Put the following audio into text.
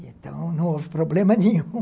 Então, não houve problema nenhum